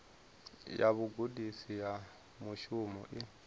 ya vhugudisi ha mushumo i